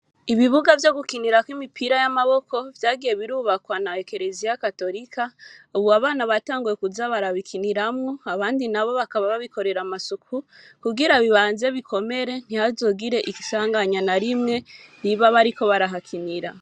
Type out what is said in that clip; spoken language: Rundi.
Ibibuga vyo gukinirako imipira y'amaboko, vyagiye birubakwa na Ekereziya katorika, ubu abana batanguye kuza barabikiniramwo, abandi na bo bakaba babikorera amasuku, kugira bibanze bikomere, ntihazogire isanganya na rimwe, riba bariko barahakinira.